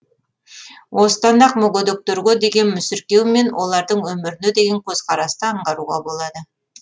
осыдан ақ мүгедектерге деген мүсіркеу мен олардың өміріне деген көзқарасты аңғаруға болады